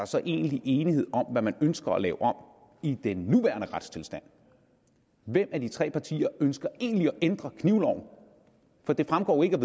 så egentlig enighed om hvad man ønsker at lave om i den nuværende retstilstand hvem af de tre partier ønsker egentlig at ændre knivloven for det fremgår jo ikke af